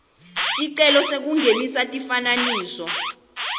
sicelo sekungenisa tifananiso